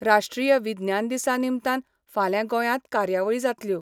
राश्ट्रीय विज्ञान दिसा निमतान फाल्यां गोयात कार्यावळी जातल्यो.